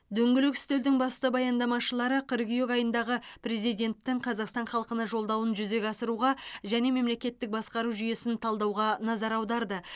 дөңгелек үстелдің басты баяндамашылары қыркүйек айындағы президенттің қазақстан халқына жолдауын жүзеге асыруға және мемлекеттік басқару жүйесін талдауға назар аударды